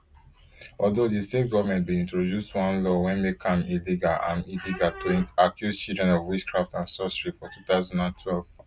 although di state goment bin introduce one law wey make am illegal am illegal to accuse children of witchcraft and sorcery for two thousand and twelve